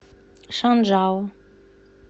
шанжао